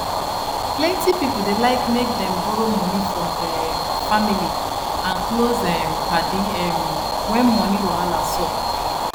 plenty pipo dey like make dem borrow moni from der um family and close um padi um when money wahala sup